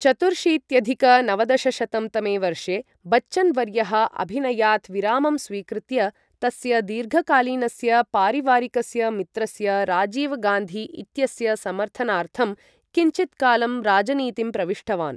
चतुर्शीत्यधिक नवदशशतं तमे वर्षे, बच्चन् वर्यः अभिनयात् विरामं स्वीकृत्य तस्य दीर्घकालीनस्य पारिवारिकस्य मित्रस्य राजीव् गान्धी इत्यस्य समर्थनार्थं किञ्चित् कालं राजनीतिं प्रविष्टवान्।